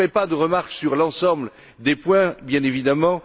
Je ne ferai pas de remarques sur l'ensemble des points, bien évidemment.